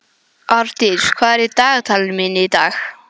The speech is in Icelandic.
Árdís, hvað er í dagatalinu mínu í dag?